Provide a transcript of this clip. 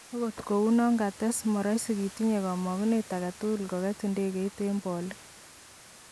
Ot kounon, kates, moroisi kitinye komogunet agetugul kogetb idegeit eng bolik.